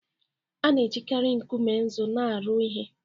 A na-ejikarị nkume nzu na-arụ ihe